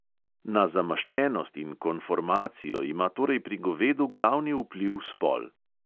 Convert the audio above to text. Na zamaščenost in konformacijo ima torej pri govedu glavni vpliv spol.